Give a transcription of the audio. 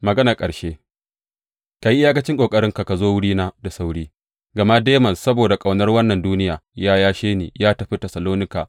Maganar ƙarshe Ka yi iyakacin ƙoƙarinka ka zo wurina da sauri, gama Demas, saboda ƙaunar wannan duniya, ya yashe ni ya tafi Tessalonika.